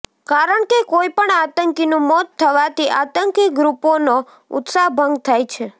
કારણ કે કોઈપણ આતંકીનું મોત થવાથી આતંકી ગ્રુપોનો ઉત્સાહ ભંગ થાય છે